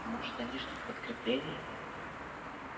может они ждут подкрепления